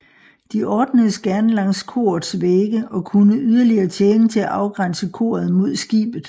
De ordnedes gerne langs korets vægge og kunne yderligere tjene til at afgrænse koret mod skibet